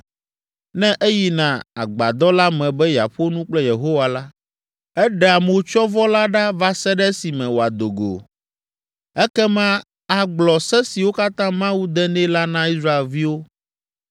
Ne eyina agbadɔ la me be yeaƒo nu kple Yehowa la, eɖea motsyɔvɔ la ɖa va se ɖe esime wòado go. Ekema agblɔ se siwo katã Mawu de nɛ la na Israelviwo,